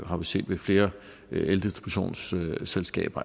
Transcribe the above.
har vi set flere eldistributionsselskaber